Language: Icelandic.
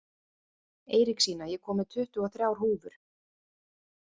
Eiríksína, ég kom með tuttugu og þrjár húfur!